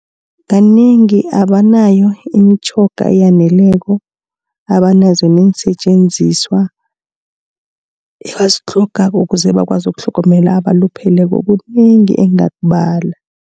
Kanengi abanayo imitjhoga eyaneleko, abanazo neensetjenziswa ebazitlhogako ukuze bakwazi ukutlhogomela abalupheleko. Kunengi engingakubala.